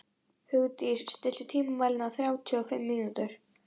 Hugdís, stilltu tímamælinn á þrjátíu og fimm mínútur.